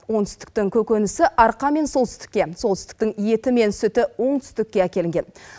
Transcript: оңтүстіктің көкөнісі арқа мен солтүстікке солтүстіктің еті мен сүті оңтүстікке әкелінген